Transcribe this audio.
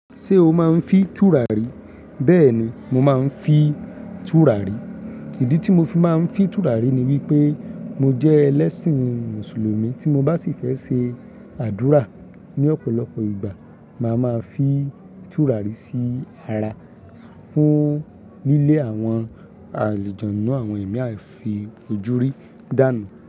Ṣé o máa ń fi tùràrí? Bẹ́ẹ̀ ni, mo máa ń fi tùràrí. Ìdí tí mo fi máa ń fi tùràrí ni wípé mo jẹ ẹlẹ́ṣìn mùsùlùmí tí mo bá sì fẹ́ ṣe àdúrà ní ọ̀pọ̀lọpọ̀ ìgbà. Máa máa fi tùràrí sí ara fún lílé àwọn àlejaanu àwọn ẹ̀mí àìfi ojú rí dànù.